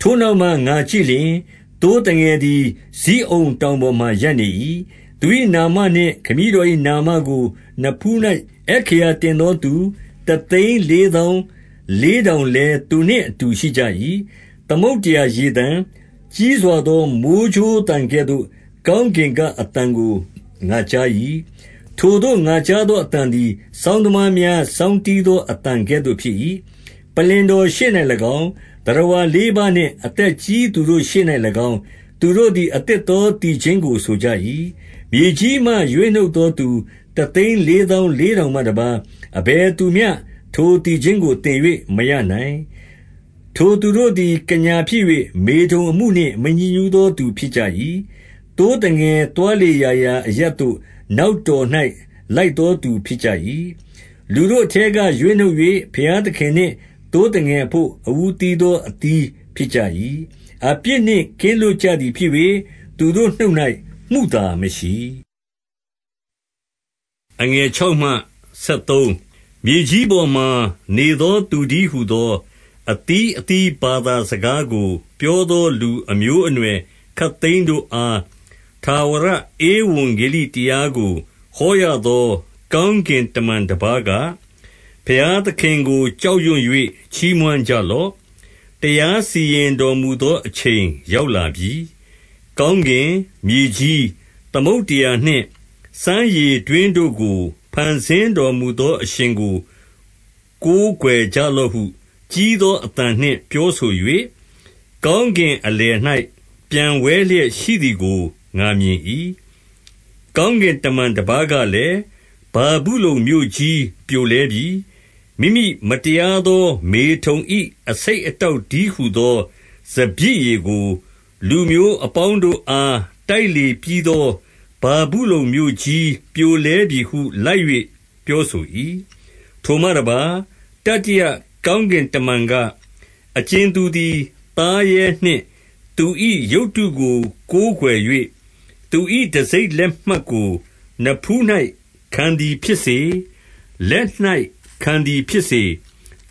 ထိုနောက်မှ ငါကြည့်လျှင် ၊ သိုးသငယ်သည် ဇိအုန်တောင်ပေါ်မှာရပ်နေ၏။ သူ၏ နာမနှင့် ခမည်း တော်၏ နာမကိုနဖူး၌ အက္ခရာတင်သောသူ တသိန်းလေးသောင်းလေးထောင်လည်း သူနှင့်အတူ ရှိကြ၏။ 2 သမုဒ္ဒရာရေသံ၊ ကြီးစွာသော မိုဃ်းကြိုးသံကဲ့သို့ ကောင်းကင်က အသံကို ငါကြား၏။ ထိုသို့ ငါကြားသော အသံသည် စောင်းသမားများ စောင်းတီးသော အသံ ကဲ့သို့ဖြစ်၏။ 3 ပလ္လင်တော်ရှေ့၌၎င်း၊ သတ္တဝါလေးပါးနှင့် အသက်ကြီးသူတို့ရှေ့၌၎င်း၊ သူတို့သည် အသစ်သော သီချင်းကို ဆိုကြ၏။ မြေကြီးမှရွေးနှုတ်သောသူ တသိန်းလေးသောင်းလေးထောင်မှတပါး၊ အဘယ်သူမျှ ထို သီချင်းကို သင်၍မရနိုင်။ 4 ထိုသူတို့သည် ကညာဖြစ်၍မေထုန်အမှုနှင့် မညစ်ညူးသော သူဖြစ်ကြ၏။ သိုးသငယ် သွားလေ ရာရာအရပ်သို့ နောက်တော်၌ လိုက်သောသူဖြစ်ကြ၏။ လူတို့ အထဲကရွေးနှုတ်၍ ဘုရားသခင်နှင့် သိုးသငယ် အဘို့ အဦးသီးသော အသီးဖြစ်ကြ၏။ 5 အပြစ်နှင့်ကင်းလွတ်ကြသည်ဖြစ်၍ သူတို့နှုတ်၌ မုသာမရှိ။ 6 မြေကြီးပေါ်မှာနေသော သူတည်းဟူသော အသီးအသီးဘာသာစကားကိုပြောသော လူအမျိုးအနွယ် ခပ်သိမ်းတို့အား ထာဝရဧဝံဂေလိတရားကို ဟောရသော ကောင်းကင်တမန်တပါးက၊ 7 ဘုရားသခင်ကိုကြောက်ရွံ့၍ ချီးမွမ်းကြလော့။ တရားစီရင်တော်မူသော အချိန်ရောက်လာပြီ။ ကောင်း ကင်၊ မြေကြီး၊ သမုဒ္ဒရာနှင့် စမ်းရေတွင်းတို့ကို ဖန်ဆင်းတော်မူသောအရှင်ကို ကိုးကွယ်ကြလော့ဟု ကြီးသော အသံနှင့် ပြောဆို၍ ကောင်းကင်အလယ်၌ ပျံဝဲလျက် ရှိသည်ကို ငါမြင်၏။ 8 ကောင်းကင်တမန်တပါးကလည်း၊ ဗာဗုလုန်မြို့ကြီး ပြိုလဲပြီ။ မိမိမတရာသေား မေထုန်၏ အဆိပ် အတောက်တည်းဟူသော စပျစ်ရည်ကို လူမျိုးအပေါင်း တို့အား တိုက်လေပြီးသော ဗာဗုလုန်မြို့ကြိးပြိုလဲပြီဟု လိုက်၍ပြောဆို၏။ 9 ထိုမှတပါး၊ တတိယကောင်းကင်တမန်က၊ အကြင်သူသည် သားရဲနှင့် သူ၏ရုပ်တုကိုကိုးကွယ်၍၊ သူတံဆိပ်လက်မှတ်ကို နဖူး၌ ခံသည်ဖြစ်စေ၊ လက်၌ ခံသည်ဖြစ်စေ၊